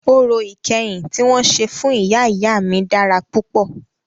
Orò ìkẹyìn tí wọn ṣe fún ìyá ìyá mí dára púpọ̀.